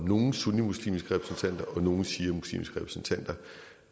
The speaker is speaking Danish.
nogle sunnimuslimske repræsentanter og nogle shiamuslimske repræsentanter